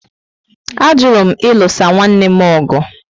A jụrụ m ilusa nwanne m ọgụ